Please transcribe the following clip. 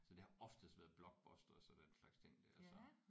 Så det har oftest været blockbusters og den slags ting der så